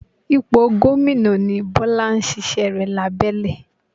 Ipò gómìnà ni Bọ́lá ń ṣíṣẹ́ rẹ̀ lábẹ́lẹ̀